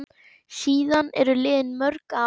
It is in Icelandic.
Síðan eru liðin mörg ár.